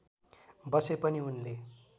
बसे पनि उनले